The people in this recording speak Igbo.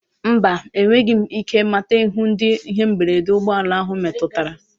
Mba, enweghị m ike mata ihu ndị ihe mberede ụgbọ ala ahụ metụtara.